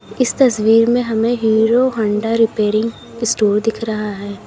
इस तस्वीर में हीरो होंडा रिपेयर स्टोर दिख रहा है।